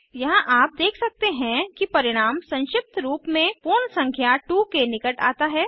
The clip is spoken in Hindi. यहाँ आप देख सकते हैं कि परिणाम संक्षिप्त रूप में पूर्ण संख्या 2 के निकट आता है